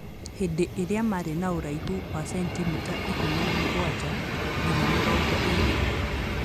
Hĩndĩ ĩrĩa marĩ na ũraihu wa sentimita ikũmi na mũgwanja nginya mĩrongo ĩrĩ.